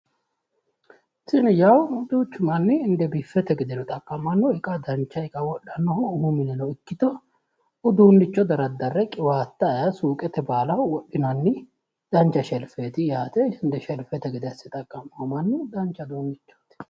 Tini yawu duuchu manni inde biffete gede xaqqa'manno iqa dancha iqano wodhannohu umu mineno ikkito uduunnicho daraddarre qiwaatta ayeee suuqete baalaho wodhinanni dancha sherfeeti yaate inde sherfete gede asse xaqqa'mayo mannu dancha uduunnichooti.